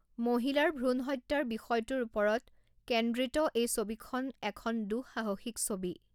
মহিলাৰ ভ্ৰূণহত্যাৰ বিষয়টোৰ ওপৰত কেন্দ্ৰিত এই ছবিখন এখন দুঃসাহসিক ছবি।